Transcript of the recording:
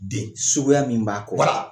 De suguya min b'a